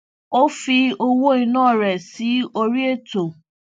ó fi owó ìná rẹ sí orí ètò